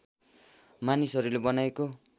मानिसहरूले बनाएको